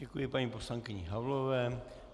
Děkuji paní poslankyni Havlové.